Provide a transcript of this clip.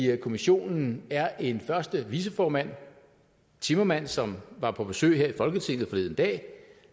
kommissionen er en første viceformand timmermans som var på besøg her i folketinget forleden dag